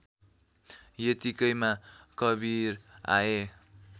यतिकैमा कवीर आए